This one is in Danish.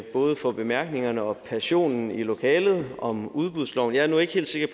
både for bemærkningerne og passionen i lokalet om udbudsloven jeg er nu ikke helt sikker